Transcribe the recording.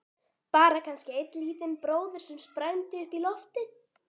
Bara kannski einn lítinn bróður sem sprændi upp í loftið.